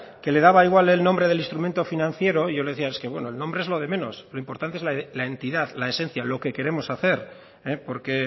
que le daba igual el nombre del instrumento financiero yo le decía es que bueno el nombre es lo del menos lo importante es la entidad la esencia lo que queremos hacer porque